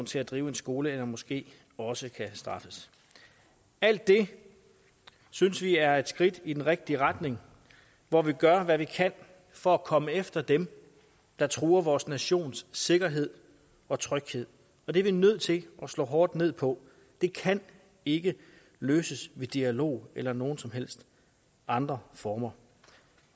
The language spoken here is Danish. til at drive en skole eller en moske også kan straffes alt det synes vi er et skridt i den rigtige retning hvor vi gør hvad vi kan for at komme efter dem der truer vores nations sikkerhed og tryghed det er vi nødt til at slå hårdt ned på det kan ikke løses ved dialog eller nogen som helst andre former